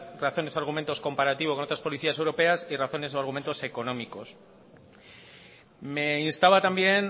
razones o argumentos comparativos con otras policías europeas y razones o argumentos económicos me instaba también